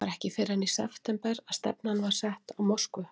Það var ekki fyrr en í september að stefnan var sett á Moskvu.